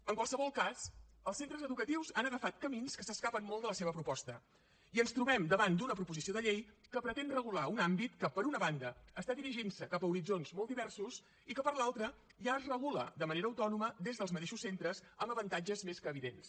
en qualsevol cas els centres educatius han agafat camins que s’escapen molt de la seva proposta i ens trobem davant d’una proposició de llei que pretén regular un àmbit que per una banda està dirigint se cap a horitzons molt diversos i que per l’altra ja es regula de manera autònoma des dels mateixos centres amb avantatges més que evidents